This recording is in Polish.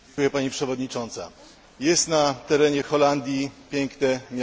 Jest na terenie Holandii piękne miasteczko Maastricht.